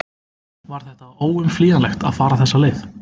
Var þetta óumflýjanlegt að fara þessa leið?